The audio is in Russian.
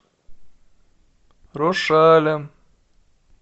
рошалем